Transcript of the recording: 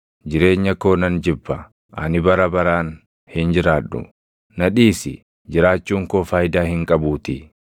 Jireenya koo nan jibba; ani bara baraan hin jiraadhu. Na dhiisi; jiraachuun koo faayidaa hin qabuutii.